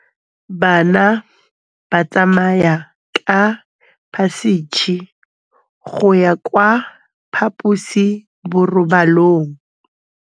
Bana ba tsamaya ka phašitshe go ya kwa phaposiborobalong.